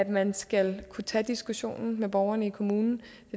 man skal kunne tage diskussionen med borgerne i kommunen